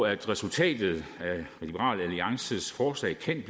at resultatet af liberal alliances forslag kan